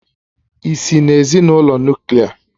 Ị́si n'ezinụlọ Nuklià?